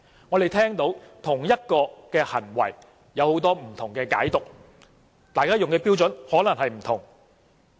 我們聽到就同一種行為都有很多不同的解讀，大家用的標準可能不同。